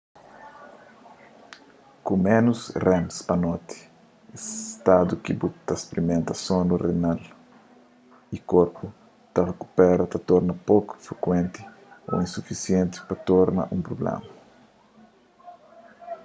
ku ménus rems pa noti es stadu ki bu ta sprimenta sonu renal y korpu ta rikupera ta torna poku frikuenti u sufisienti pa torna un prubléma